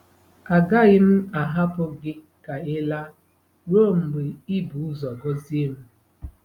Agaghị m ahapụ gị ka ị laa ruo mgbe i bu ụzọ gọzie m.